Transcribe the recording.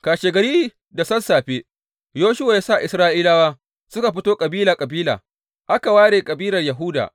Kashegari da sassafe Yoshuwa ya sa Isra’ilawa suka fito kabila kabila, aka ware kabilar Yahuda.